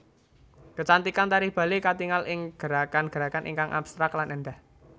Kecantikan tari Bali katingal ing gerakan gerakan ingkang abstrak lan éndah